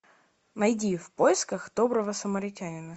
найди в поисках доброго самаритянина